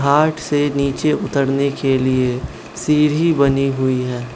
घाट से नीचे उतरने के लिए सीढ़ी बनी हुई है।